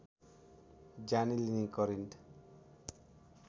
ज्यानै लिने करेन्ट